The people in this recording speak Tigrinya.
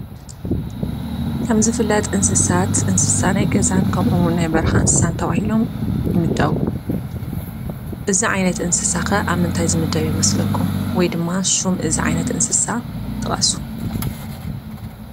ከም ዝፍለጥ እንስሳት እንስሳ ናይ ገዛን ናይ በረኻ እንስሳን ተባሂሎም ይምደቡ፡፡ እዚ ዓይነት እንስሳ ኸ ኣብ ምንታይ ዓይነት እንስሳ ዝምደብ ይመስለኩም? ወይ ድማ ሽም እዚ እንስሳ ጥቐሱ?